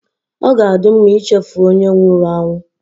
Ọ ga-adị mma ichefu onye nwụrụ anwụ